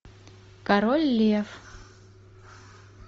король лев